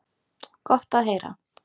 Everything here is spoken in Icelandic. Gott að heyra.